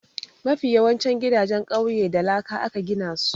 Mafi yawancin gidajen ƙauye da laka aka gina su.